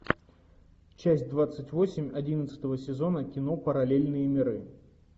часть двадцать восемь одиннадцатого сезона кино параллельные миры